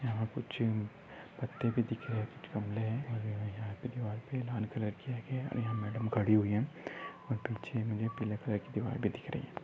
यहा कुछ पत्ते भी दिख रहे है कुछ गमले है और यहा पर दीवार पे लाल कलर किया गया है और यहा मैडम खड़ी हुई है और पीछे मुझे पीले कलर की दीवार भी दिख रही है।